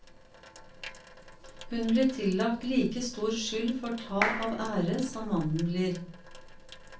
Hun blir tillagt like stor skyld for tap av ære som mannen blir.